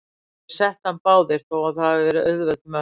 Þeir settu hann báðir, þó að það hafi verið auðveld mörk.